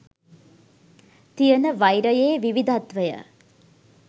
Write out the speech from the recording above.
තියෙන වෛරයේ විවිධත්වය